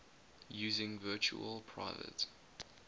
using virtual private